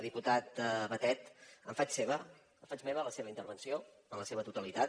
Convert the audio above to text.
diputat batet faig meva la seva intervenció en la seva totalitat